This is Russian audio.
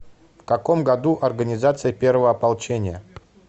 в каком году организация первого ополчения